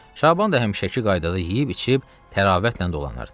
Şaban da həmişəki qaydada yeyib-içib təravətlə dolanırdı.